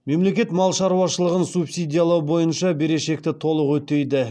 мемлекет мал шаруашылығын субсидиялау бойынша берешекті толық өтейді